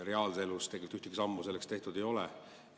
Reaalses elus ühtegi sammu selleks tehtud ei ole.